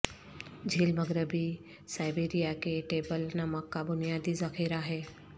جھیل مغربی سائبیریا کے ٹیبل نمک کا بنیادی ذخیرہ ہے